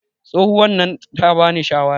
tsohuwan nan ta bani shawara